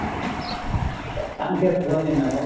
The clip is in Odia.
ଧନୀନା ଭାଇ